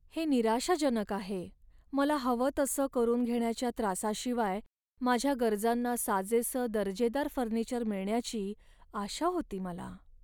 हे निराशाजनक आहे, मला हवं तसं करून घेण्याच्या त्रासाशिवाय माझ्या गरजांना साजेसं दर्जेदार फर्निचर मिळण्याची आशा होती मला.